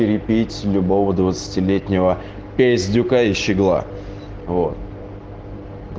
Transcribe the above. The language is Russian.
перепить любого двадцатилетнего пиздюка и щегла вот